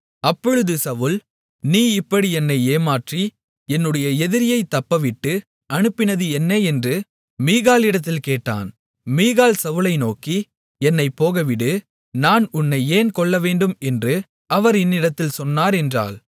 அப்பொழுது சவுல் நீ இப்படி என்னை ஏமாற்றி என்னுடைய எதிரியைத் தப்பவிட்டு அனுப்பினது என்ன என்று மீகாளிடத்தில் கேட்டான் மீகாள் சவுலை நோக்கி என்னைப் போகவிடு நான் உன்னை ஏன் கொல்லவேண்டும் என்று அவர் என்னிடத்தில் சொன்னார் என்றாள்